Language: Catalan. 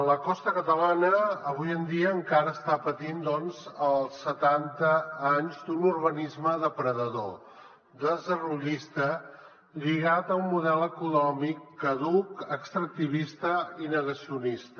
la costa catalana avui en dia encara està patint doncs els setanta anys d’un urbanisme depredador desenvolupista lligat a un model econòmic caduc extractivista i negacio nista